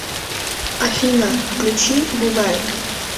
афина включи бугай